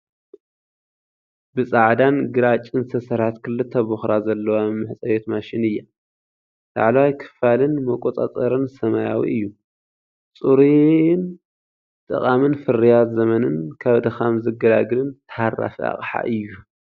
ብጻዕዳን ግራጭን ዝተሰርሐት ክልተ ብኹራ ዘለዋ መሕጸቢት ማሽን እያ። ላዕለዋይ ክፋልን መቆጻጸርን ሰማያዊ እዩ። ጽሩይን ጠቓምን ፍርያት ዘመንን ካብ ድኻም ዝገላግልን ታሃራፊ ኣቕሓ እዩ፡፡